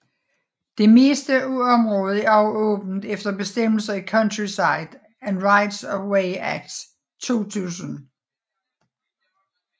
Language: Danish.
Det meste af området er også åbent efter bestemmelserne i Countryside and Rights of Way Act 2000